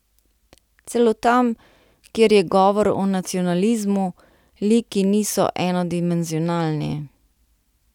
Celo tam, kjer je govor o nacionalizmu, liki niso enodimenzionalni.